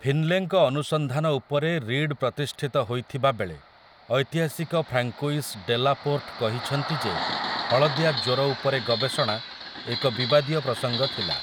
ଫିନ୍‌ଲେଙ୍କ ଅନୁସନ୍ଧାନ ଉପରେ ରୀଡ୍ ପ୍ରତିଷ୍ଠିତ ହୋଇଥିବାବେଳେ, ଐତିହାସିକ ଫ୍ରାଙ୍କୋଇସ୍ ଡେଲାପୋର୍ଟ କହିଛନ୍ତି ଯେ ହଳଦିଆ ଜ୍ୱର ଉପରେ ଗବେଷଣା ଏକ ବିବାଦୀୟ ପ୍ରସଙ୍ଗ ଥିଲା ।